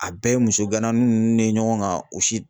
A bɛɛ ye muso ganna nunnu ye ɲɔgɔn kan o si